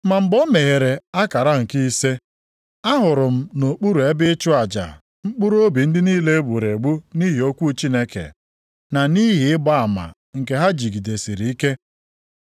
Ma mgbe ọ meghere akara nke ise, ahụrụ m nʼokpuru ebe ịchụ aja mkpụrụobi ndị niile e gburu egbu nʼihi okwu Chineke na nʼihi ịgba ama nke ha jidesiri ike.